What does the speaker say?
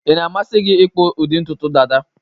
Ị na-amasị gi ịkpụ ụdị ntutu Dada